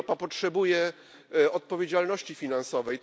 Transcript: Europa potrzebuje odpowiedzialności finansowej.